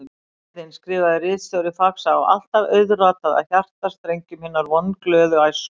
Gleðin, skrifaði ritstjóri Faxa, á alltaf auðratað að hjartastrengjum hinnar vonglöðu æsku.